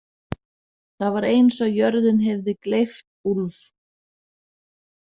En það var eins og jörðin hefði gleypt Úlf.